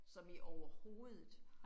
Som i overhovedet